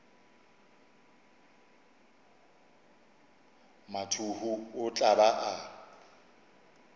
mathuhu o tla ba a